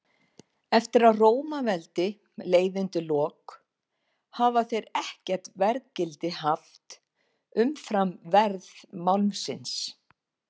Eftir að Rómaveldi leið undir lok hafa þeir ekkert verðgildi haft umfram verð málmsins.